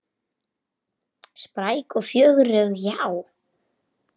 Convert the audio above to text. Spræk og fjörug, já.